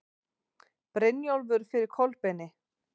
Brynjólfur fyrir Kolbeini.